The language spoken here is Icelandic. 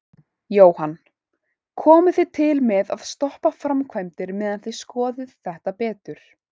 Jóhann: Komið þið til með að stoppa framkvæmdir meðan þið skoðið þetta betur?